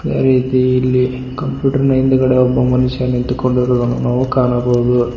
ಅದೇ ರೀತಿ ಇಲ್ಲಿ ಕಂಪ್ಯೂಟರ್ ನ ಹಿಂದ್ಗಡೆ ಒಬ್ಬ ಮನುಷ್ಯ ನಿಂತು ಕೊಂಡಿರುವುದನ್ನು ನಾವು ಕಾಣಬಹುದು.